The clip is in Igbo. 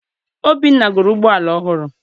Obinna goro ụgbọala ọhụrụ.